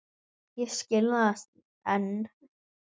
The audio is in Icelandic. Og ég skil það enn.